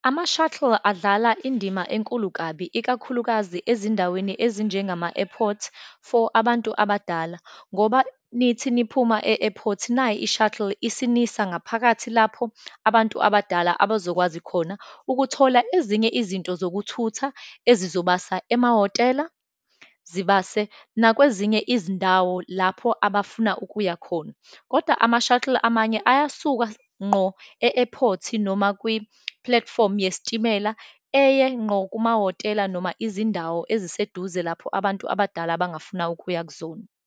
Amas-shuttle adlala indima enkulu kabi, ikakhulukazi ezindaweni ezinjengama-airport for abantu abadala, ngoba nithi niphuma e-airport, nayi i-shuttle isinisa ngaphakathi lapho abantu abadala abazokwazi khona ukuthola ezinye izinto zokuthutha, ezobasa emahhotela, zibase nakwezinye izindawo lapho abafuna ukuyakhona. Kodwa ama-shuttle amanye ayasuka ngqo e-airport, noma kwipulatifomu yesitimela eye ngqo kumahhotela, noma izindawo eziseduze lapho abantu abadala bangafuna ukuya kuzona.